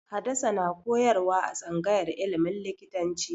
Hadasa na koyarwa a tsangayar ilimin likitanci